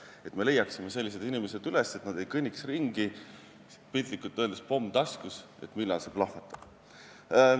Me peame leidma sellised inimesed üles, et nad ei kõnniks ringi, piltlikult öeldes, pomm taskus, teadmata, millal see plahvatab.